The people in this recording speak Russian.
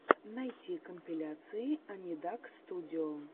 найти компиляции анидакстудио